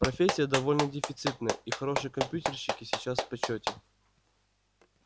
профессия довольно дефицитная и хорошие компьютерщики сейчас в почёте